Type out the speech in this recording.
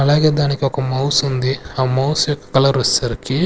అలాగే దానికి ఒక మౌస్ ఉంది ఆ మౌస్ యొక్క కలర్ వచ్చేసరికి.